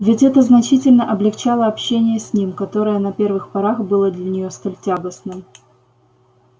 ведь это значительно облегчало общение с ним которое на первых порах было для неё столь тягостным